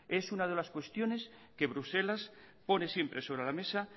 es una de las cuestiones que bruselas pone siempre sobre la mesa